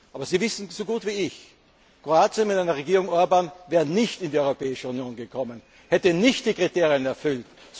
ist. Aber Sie wissen so gut wie ich Kroatien mit einer Regierung Orbán wäre nicht in die Europäische Union gekommen, es hätte nicht die Kriterien